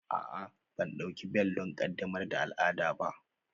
A'a, ban ɗauki bel don ƙaddamar da al'ada ba